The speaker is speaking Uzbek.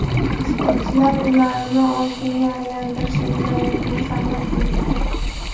Sportchilar ularni oltinga aylantirish imkoniyatini saqlab turibdi.